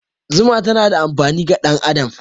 Zuma tana da amfani ga ɗan adam.